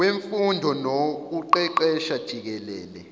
wemfundo nokuqeqesha jikelele